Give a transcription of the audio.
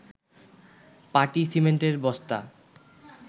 পাটি, সিমেন্টের বস্তা